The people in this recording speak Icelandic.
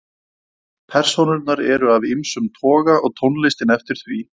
Persónurnar eru af ýmsum toga og tónlistin eftir því.